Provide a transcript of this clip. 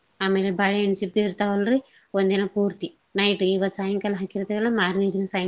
ಆಮೇಲೆ ಬಾಳೇಹಣ್ ಸಿಪ್ಪೆ ಇರ್ತಾವಲ್ರಿ ಒಂದಿನ ಪೂರ್ತಿ night ಇವತ್ ಸಾಯಂಕಾಲ ಮಾರ್ನೇದಿನ ಸಾಯಂ~